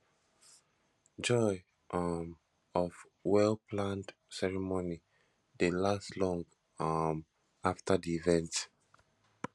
joy um of wellplanned ceremony dey last long um after the event